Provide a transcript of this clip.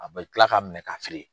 A bɛ kila k'a minɛ ka siri.